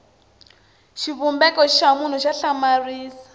xivumbeko xa munhu xa hlamarisa